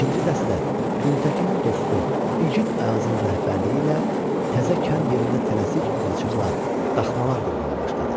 ikinci dəstə Güntəkinin dostu İgid Ayazın rəhbərliyi ilə təzə kənd yerində tələsik alaçıqlar, daхmalar qurmağa başladı.